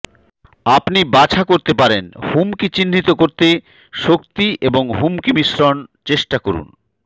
আপনি বাছা করতে পারেন হুমকি চিহ্নিত করতে শক্তি এবং হুমকি মিশ্রন চেষ্টা করুন